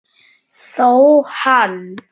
Þó hann